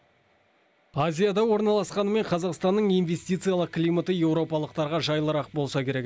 азияда орналасқанымен қазақстанның инвестициялық климаты еуропалықтарға жайлырақ болса керек